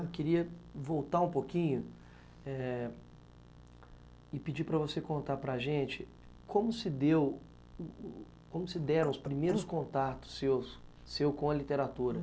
Eu queria voltar um pouquinho eh e pedir para você contar para a gente como se deu, como se deram os primeiros contatos seus, seu com a literatura.